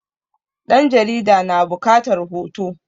ɗan jarida na bukatar hoto